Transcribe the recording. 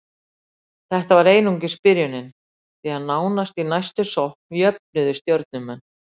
Þetta var einungis byrjunin, því nánast í næstu sókn jöfnuðu Stjörnumenn.